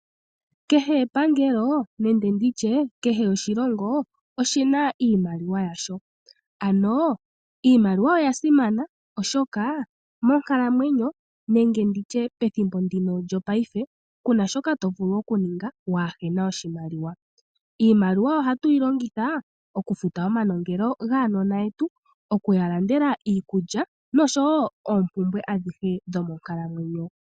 Kehe epangelo nenge oshilongo oshina iimaliwa yasho. Ano iimaliwa oyasimana oshoka monkalamwenyo nenge pethimbo ndino lyopaife kuna shoka tovulu okuninga waahena oshimaliwa . Iimaliwa ohatu yi longitha okufuta omanongelo gaanona okuya landela iikulya noshowoo oompumbwe dhonkalamwenyo.